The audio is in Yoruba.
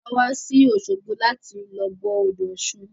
A wá sí òṣogbo láti lọ bọ odò ọ̀ṣun.